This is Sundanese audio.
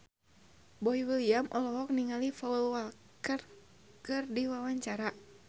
Boy William olohok ningali Paul Walker keur diwawancara